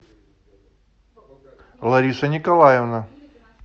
лариса николаевна